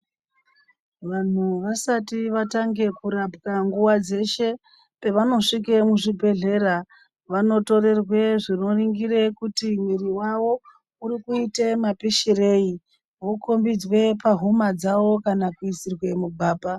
Vanhu vasati vatanga kurapwa nguwa dzeshe pavanosvika muzvibhedhlera vanotorerwa zvinoningira kuti mwiri wavo urikuita mapishirei vokombidzwa pahuma dzawo kana kuisirwa mugwapa.